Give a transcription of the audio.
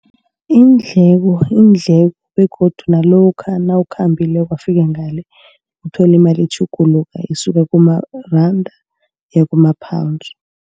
Iindleko, iindleko begodu nalokha nawukhambileko wafika ngale. Uthole imali itjhuguluka esuka kuma randa iyakuma-Pounds.